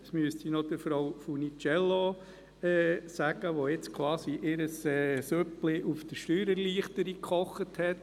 das müsste ich noch Frau Funiciello sagen, die jetzt quasi ihr Süppchen vollends auf der Steuererleichterung gekocht hat.